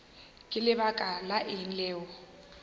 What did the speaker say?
ka lebaka la eng o